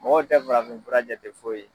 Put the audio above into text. Mɔgɔw tɛ farafin fura jate foyi ye.